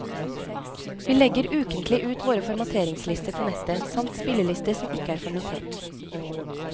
Vi legger ukentlig ut våre formateringslister på nettet, samt spillelister som ikke er formatert.